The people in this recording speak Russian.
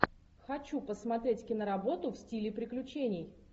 хочу посмотреть киноработу в стиле приключений